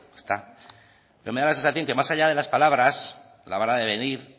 pero me da la sensación que más allá de las palabras la vara de medir